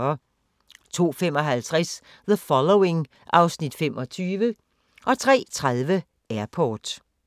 02:55: The Following (Afs. 25) 03:30: Airport